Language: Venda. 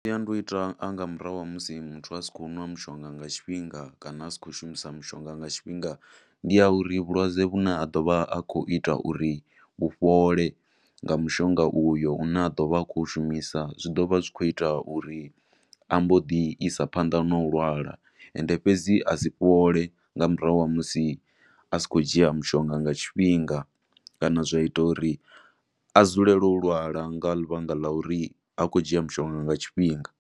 Masiandoitwa anga murahu ha musi muthu asi khou nwa mushonga nga tshifhinga kana a si khou shumisa mushonga nga tshifhinga ndi a uri vhulwadze vhu ne a do vha a khou ita uri vhufhole nga mushonga uyo, u ne a ḓo vha a khou shumisa, zwi ḓo vha zwi khou ita uri ambo ḓi isa phanḓa na u lwala, ende fhedzi a si fhole nga murahu ha musi a si khou dzhia mushonga nga tshifhinga, kana zwa ita uri a dzulele u lwala nga ḽivhanga ḽa uri ha khou dzhia mushonga nga tshifhinga.